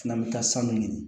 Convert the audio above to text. Fana bɛ taa sanu ɲini